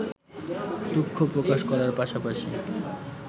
দুঃখ প্রকাশ করার পাশাপাশি